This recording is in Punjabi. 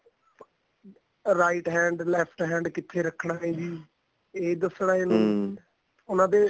right hand left hand ਕਿੱਥੇ ਰੱਖਣਾ ਏ ਜੀ ਇਹ ਦੱਸਣਾ ਇਹਨੂੰ ਉਹਨਾ ਦੇ